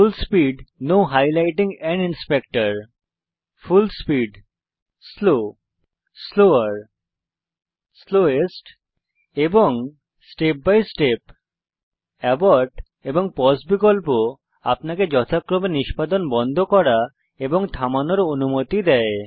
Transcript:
ফুল speed full speed slow slower slowest এবং step by step abort এবং pause বিকল্প আপনাকে যথাক্রমে নিষ্পাদন বন্ধ করা এবং থামানোর অনুমতি দেয়